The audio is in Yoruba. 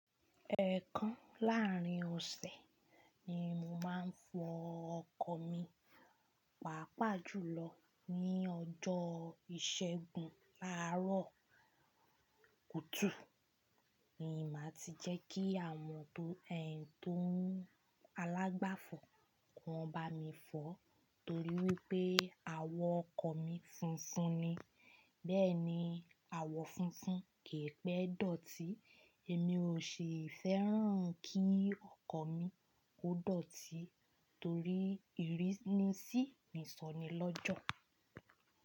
Ẹ̀ẹ̀kan láàrín ọ̀sẹ̀ ni mò máa ń fọ ọkọ̀ mi, pàápàá jùlọ ní ọjọ́ ìṣẹ́gun láàárọ̀ kùtù. Ni máa ti jẹ́ kí àwọn tó, tó, alàgbàfọ̀ kọ́ bá mi fọ́ torí wípé àwọ̀ ọkọ̀ mi funfun ni. Bẹ́ẹ̀ ni, àwọ̀ funfun kìí pẹ́ dọ̀tí, èmi ò sì fẹ́ràn kí ọkọ̀ mi ó dọ̀tí torí ìrínisí ni sọ ni lọ́jọ̀